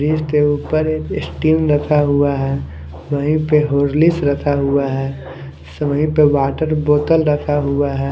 Fridge के ऊपर एक स्टिंग रखा हुआ है वहीं पे हॉर्लिक्स रखा हुआ है स वहीं पे वाटर बोतल रखा हुआ है।